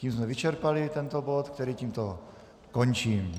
Tím jsme vyčerpali tento bod, který tímto končím.